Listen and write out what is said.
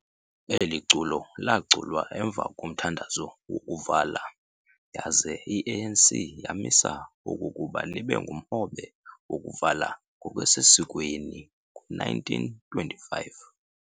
Eli culo laaculwa emva komthandazo wokuvala, yaze i-ANC yamisa okokuba libe ngumhobe wokuvala ngokusesikweni ngo-1925.